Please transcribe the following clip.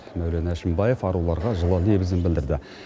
мәулен әшімбаев аруларға жылы лебізін білдірді